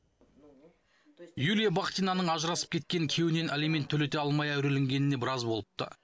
юлия бахтинаның ажырасып кеткен күйеуінен алимент төлете алмай әуреленгеніне біраз болыпты